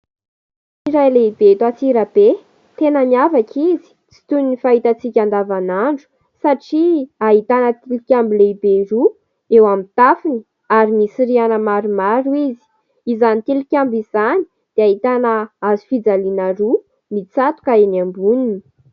Trano iray lehibe eto Antsirabe, tena miavaka izy, tsy toy ny fahitantsika andavanandro satria ahitana tilokambo lehibe roa eo amin'ny tafony ary misy rihana maromaro izy. Izany tilikambo izany dia ahitana hazofijaliana roa mitsatoka eny amboniny.